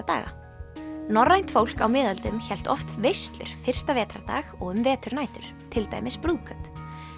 daga norrænt fólk á miðöldum hélt oft veislur fyrsta vetrardag og um veturnætur til dæmis brúðkaup